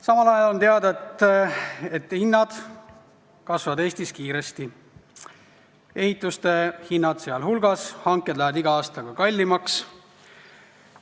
Samal ajal on teada, et hinnad tõusevad Eestis kiiresti, ehituste hinnad sealhulgas, hanked lähevad iga aastaga kallimaks.